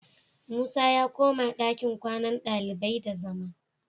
Musa ya koma dakin kwannan ɗalibai da zama